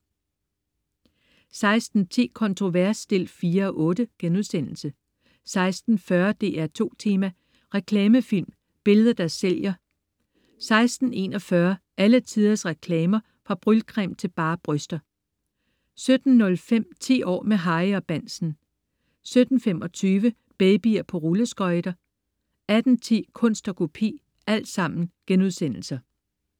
16.10 Kontrovers 4:8* 16.40 DR2 Tema: Reklamefilm, billeder der sælger* 16.41 Alle tiders reklamer. Fra brylcreme til bare bryster* 17.05 10 år med Harry og Bahnsen* 17.25 Babyer på rulleskøjter* 18.10 Kunst & Kopi*